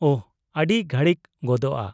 -ᱚᱦ, ᱟᱹᱰᱤ ᱜᱷᱟᱹᱲᱤᱠ ᱜᱚᱫᱚᱜᱼᱟ ᱾